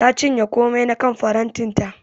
Ta cinye komai na kan farantin ta.